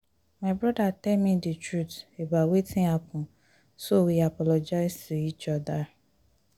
my brother tell me the truth about wetin happen so we apologize to each other